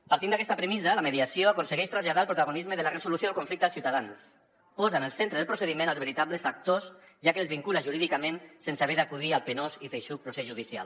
partint d’aquesta premissa la mediació aconsegueix traslladar el protagonisme de la resolució del conflicte als ciutadans posa en el centre del procediment els veritables actors ja que els vincula jurídicament sense haver d’acudir al penós i feixuc procés judicial